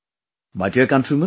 My dear countrymen,